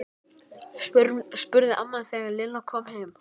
spurði amma þegar Lilla kom heim.